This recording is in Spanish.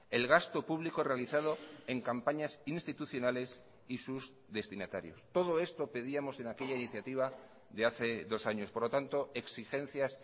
el gasto público realizado en campañas institucionales y sus destinatarios todo esto pedíamos en aquella iniciativa de hace dos años por lo tanto exigencias